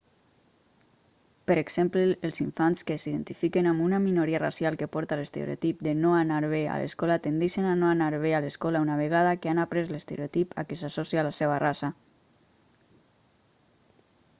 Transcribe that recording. per exemple els infants que s'identifiquen amb una minoria racial que porta l'estereotip de no anar bé a escola tendeixen a no anar bé a l'escola una vegada que han après l'estereotip a què s'associa la seva raça